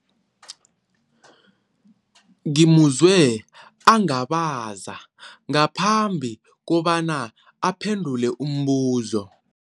Ngimuzwe angabaza ngaphambi kobana aphendule umbuzo.